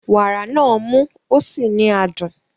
Wàrà náà mú ó sì ní adùn.